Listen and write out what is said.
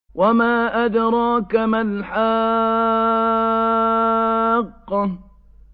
وَمَا أَدْرَاكَ مَا الْحَاقَّةُ